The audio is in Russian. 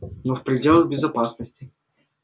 но в пределах безопасности